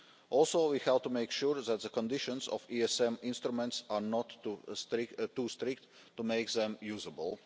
Also, we have to make sure that the conditions of ESM instruments are not too strict to make them usable.